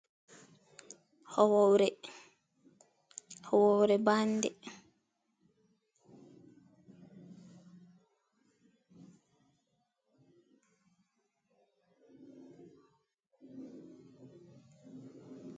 Horre, horre bande.